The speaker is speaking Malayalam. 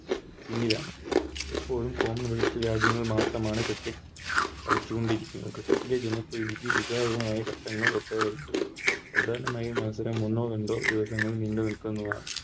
ക്കുന്നതാണ് ഇപ്പോൾ Commonwealth രാജ്യങ്ങളിൽ മാത്രമാണ് Cricket കളിച്ചുകൊണ്ടിരിക്കുന്നത് Cricket ലെ ജനപ്രീതിക്ക് വിജയകരമായ ഘട്ടങ്ങൾ ഒട്ടേറെ ഉണ്ട് പ്രധാനമായും മത്സരങ്ങളിൽ എന്നും ഇന്ത്യ ൽ നീണ്ടു നിൽക്കുന്നതാണ്